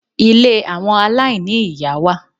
Ilé àwọn aláìní-ìyá wà.